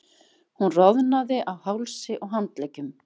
Hún roðnaði á hálsi og handleggjum.